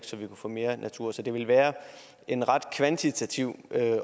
så vi kunne få mere natur så det ville være en ret kvantitativ